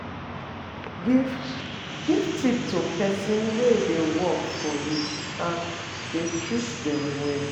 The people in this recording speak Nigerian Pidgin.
Give Give tip to persin wey de work for you and dey treat them well